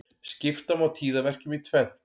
Skipta má tíðaverkjum í tvennt.